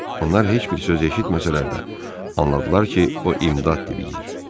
Onlar heç bir söz eşitməsələr də, anladılar ki, o imdad diləyir.